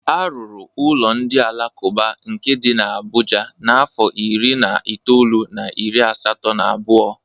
Arụrụ ụlọ ndị alakụba nke dị n'Abuja n'afọ iri na itoolu na iri asatọ na abụọ.